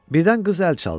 Birdən qız əl çaldı.